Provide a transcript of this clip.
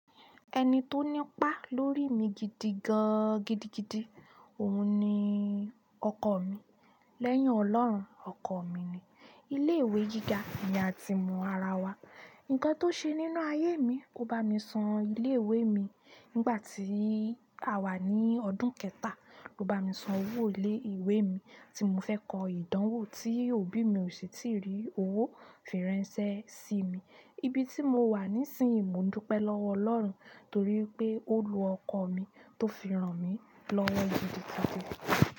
Ẹni tó nípa lórí mi gidigan gidigidi, òun ni ọkọ mi. Lẹ́yìn ọlọ́run ọkọ mi ni ilé ìwé gíga ni a ti mọ ara wa. Ǹnkan tó ṣe nínú ayé mi, ó bá mi san ilé ìwé mi nígbà tí àwa ní ọdún kẹta. Ó bá mi san owó ilé ìwé mi tí mo fẹ́ kọ ìdánwò tí òbí mi ò sì tí rí owó firansé sí mi. Ibi tí mo wà nísìnyí, mo n dúpẹ́ lọ́wọ́ Ọlọ́run torí pé ó lo ọkọ mi tó fi rán mi lọ́wọ́ gidigidi.